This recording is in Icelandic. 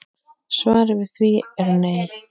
Svarið við því er nei.